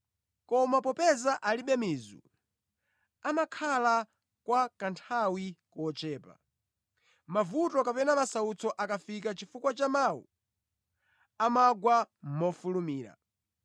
Koma popeza alibe mizu, amakhala kwa kanthawi kochepa. Mavuto kapena masautso akafika chifukwa cha mawu, amagwa mofulumira.